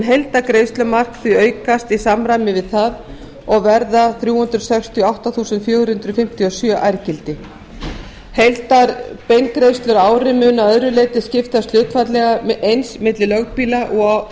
heildargreiðslumark því aukast í samræmi við það og verða þrjú hundruð sextíu og átta þúsund fjögur hundruð fimmtíu og sjö ærgildi heildarbeingreiðslur á ári munu að öðru leyti skiptast hlutfallslega eins milli lögbýla og á